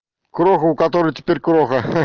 кроху у которой теперь кроха